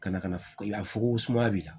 Ka na ka na fo sumaya b'i la